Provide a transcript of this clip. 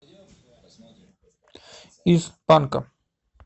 из панка